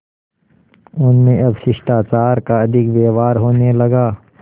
उनमें अब शिष्टाचार का अधिक व्यवहार होने लगा